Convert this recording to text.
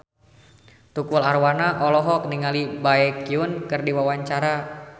Tukul Arwana olohok ningali Baekhyun keur diwawancara